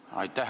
Aitäh!